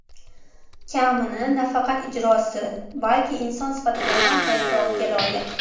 Kamini nafaqat ijrosi, balki inson sifatida ham e’tirofga loyiq.